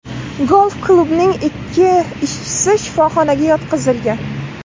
Golf-klubning ikki ishchisi shifoxonaga yotqizilgan.